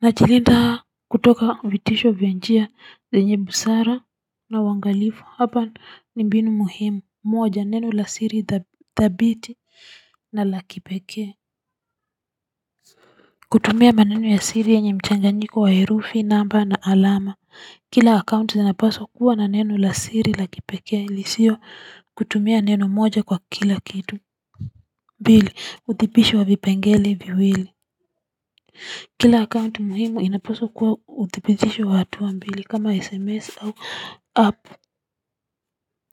Na jilinda kutoka vitisho via njia zenye busara na wangalifu hapa ni mbinu muhimu moja neno la siri thabiti na lakipekea kutumia maneno ya siri enye mchaganyiko wa herufi namba na alama kila akaunti zinapaswa kuwa na neno la siri lakipekea ilisio kutumia neno moja kwa kila kitu mbili uthipisho wavipengele viwili kila akaunt muhimu inapaswa kuwa uthipitisho wa tuwa mbili kama sms au app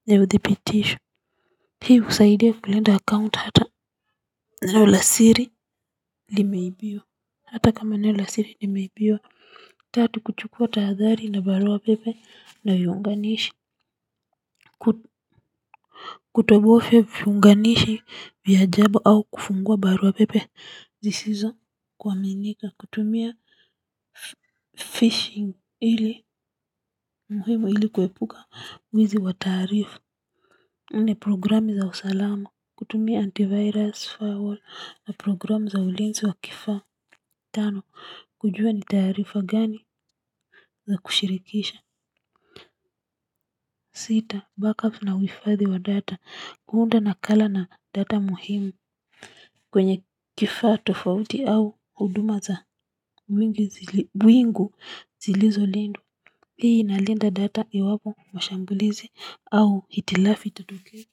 ni uthipitisho hii husaidia kulinda akaunt hata nilasiri limeibiwa hata kama neno lasiri limeibiwa tatu kuchukua tahadhari na barua pepe nahiunganishi kutobofia viunganishi vya ajabu au kufungua barua pepe zisizo kua minika kutumia fishing muhimu ili kuepuka wizi wa taarifa, nne programu za usalama kutumia antivirus firewall na programu za ulinzi wa kifaa, tano kujua ni taarifa gani za kushirikisha. Sita backup na huhifadhi wa data. Kuunda nakala na data muhimu kwenye kifaa tofauti au huduma za wingu zilizo lindwa. Hii na ilinda data iwapo mashambulizi au hitilafi itatokea.